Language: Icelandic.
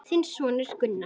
Þinn sonur, Gunnar.